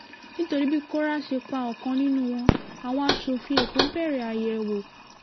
nítorí bí kóra ṣe pa ọ̀kan nínú wọn àwọn asòfin èkó bẹ̀rẹ̀ àyẹ̀wò